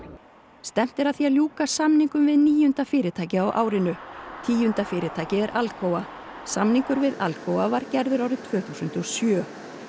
stefnt er að því að ljúka samningum við níunda fyrirtækið á árinu tíunda fyrirtækið er Alcoa samningur við Alcoa var gerður árið tvö þúsund og sjö